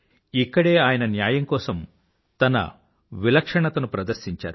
ఇక్కడే ఆయన న్యాయం కోసం తన విలక్షణతను ప్రదర్శించారు